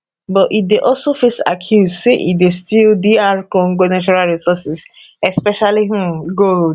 but e dey also face accuse say e dey steal dr congo natural resources especially um gold